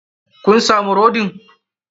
Kun samu rodin?